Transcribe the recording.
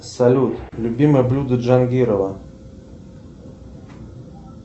салют любимое блюдо джангирова